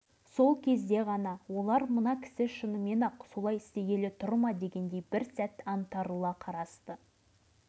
тіпті болмаған соң даусымды қаттырақ шығарып қазір полигонга телефон шалатынымды да білдірдім